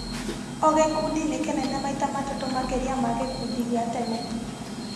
Ogĩkundi nĩkĩnene maita matatũ makĩria ma gĩkundi gĩa tene